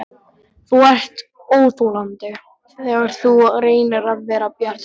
Þú ert óþolandi, þegar þú reynir að vera bjartsýnn.